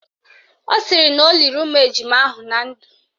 Ọ sịrị na o liri ụmụ ejima ahụ na ndụ